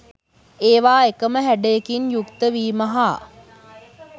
ඒවා එකම හැඩයකින් යුක්ත වීම හා